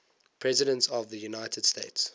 presidents of the united states